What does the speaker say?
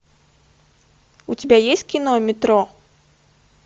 у тебя есть кино метро